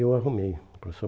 Eu arrumei o professor.